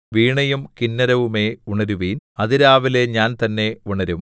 വീണയും കിന്നരവുമേ ഉണരുവിൻ അതിരാവിലെ ഞാൻ തന്നെ ഉണരും